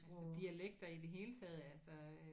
Altså dialekter i det hele taget altså